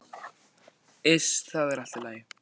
Iss, það er allt í lagi.